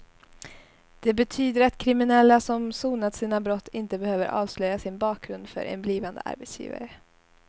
Det betyder att kriminella som sonat sina brott inte behöver avslöja sin bakgrund för en blivande arbetsgivare.